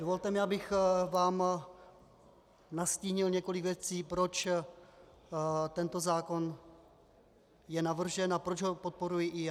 Dovolte mi, abych vám nastínil několik věcí, proč tento zákon je navržen a proč ho podporuji i já.